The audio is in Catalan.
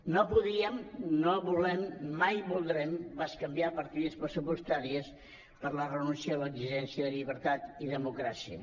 no podíem no volem mai voldrem bescanviar partides pressupostàries per la renúncia a l’exigència de llibertat i democràcia